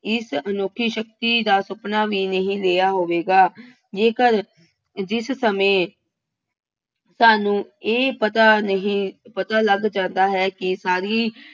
ਇਸ ਅਨੋਖੀ ਸ਼ਕਤੀ ਦਾ ਸੁਪਨਾ ਵੀ ਨਹੀਂ ਲਿਆ ਹੋਵੇਗਾ। ਜੇਕਰ ਜਿਸ ਸਮੇਂ ਸਾਨੂੰ ਇਹ ਪਤਾ ਨਹੀਂ, ਪਤਾ ਲੱਗ ਜਾਂਦਾ ਹੈ ਕਿ ਸਾਰੀ